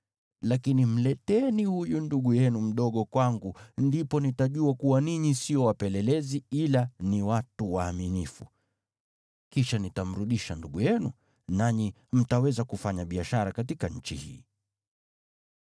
Lakini mleteni huyo ndugu yenu mdogo kwangu, ndipo nitajua kuwa ninyi sio wapelelezi, ila ni watu waaminifu. Kisha nitamrudisha ndugu yenu, nanyi mtaweza kufanya biashara katika nchi hii.’ ”